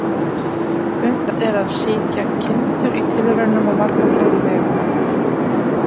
Unnt er að sýkja kindur í tilraunum á marga fleiri vegu.